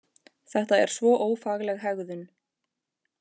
Þetta er svo ófagleg hegðun!